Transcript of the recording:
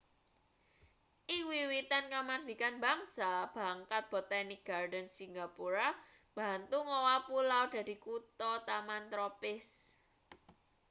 ing wiwitan kamardikan bangsa bangkat botanic gardens singapura mbantu ngowah pulau dadi kuthataman tropis